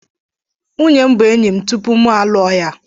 Nwunye m bụ enyi m tupu mụ alụọ ya.